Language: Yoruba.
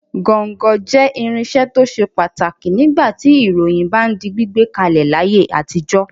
Gọ́ńgọ jẹ́ irinṣẹ́ tó ṣe pàtàkì nígbà tí ìròyìn bá ń di gbígbé kalẹ̀ láyé àtijọ́.